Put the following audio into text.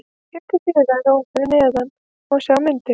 Hér til hliðar og að neðan má sjá myndir.